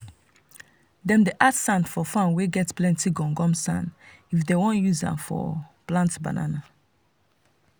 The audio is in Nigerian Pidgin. them dey add sand for farm wey get plenty gum gum sand if them want use am for plant banana